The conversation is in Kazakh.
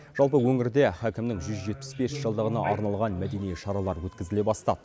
жалпы өңірде хәкімнің жүз жетпіс бес жылдығына арналған мәдени шаралар өткізіле бастады